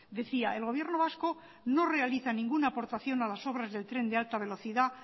decía el gobierno vasco no realiza ninguna aportación a las obras del tren de alta velocidad